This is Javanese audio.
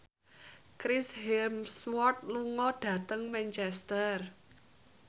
Chris Hemsworth lunga dhateng Manchester